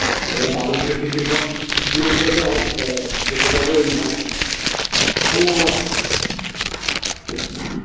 এবার তার উপরে tiffin tiffin এর পয়সাও তাহলে আমার